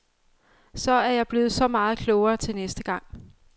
Så er jeg blevet så meget klogere til næste gang.